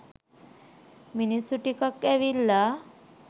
මිනිස්සු ටිකක් ඇවිල්ලා